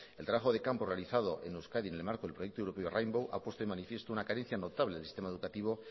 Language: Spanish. el trabajo de campo realizado en euskadi en el marco del proyecto europeo rainbow ha puesto de manifiesto una carencia notable del sistema educativo